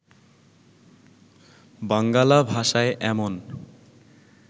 বাঙ্গালা ভাষায় এমন